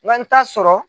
N ka n t'a sɔrɔ